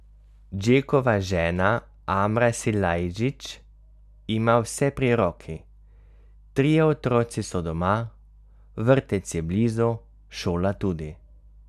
Džekova žena Amra Silajdžić ima vse pri roki, trije otroci so doma, vrtec je blizu, šola tudi.